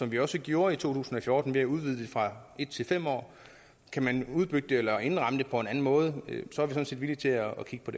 vi jo også gjorde i to tusind og fjorten ved at udvide det fra en til fem år kan man udbygge det eller indramme det på en anden måde er vi sådan set villige til at kigge på